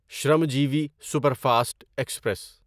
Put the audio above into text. Shramjeevi superfast express